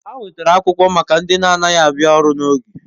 Ha nwetara akwukwo maka ndi na anaghi abia oru n'oge